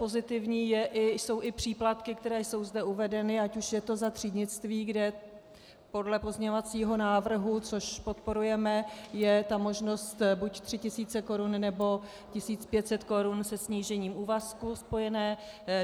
Pozitivní jsou i příplatky, které jsou zde uvedeny, ať už je to za třídnictví, kde podle pozměňovacího návrhu, což podporujeme, je ta možnost buď 3 000 korun, nebo 1 500 korun se snížením úvazku spojené.